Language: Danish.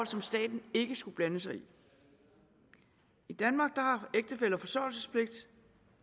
som staten ikke skal blande sig i i danmark har ægtefæller forsørgelsespligt